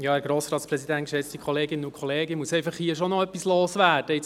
Ich muss nach diesem Votum schon noch etwas loswerden.